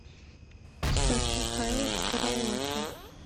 стас михайлов караоке